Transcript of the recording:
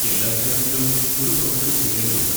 എല്ലാ വിദ്യാർത്ഥികളും ഒരു പ്രവർത്തനം ചെയ്യേണ്ടതുണ്ട്.